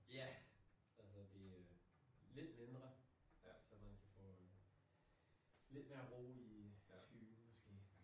Ja! Altså det øh lidt mindre så man kan få lidt mere ro i skyggen måske